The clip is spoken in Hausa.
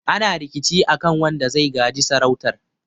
ana rikici a kan wanda zai gaji sarautar